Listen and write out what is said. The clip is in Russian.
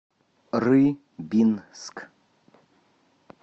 рыбинск